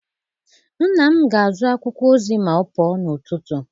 Nna m ga-azụ akwụkwọ ozi ma ọ pụọ n'ụtụtụ.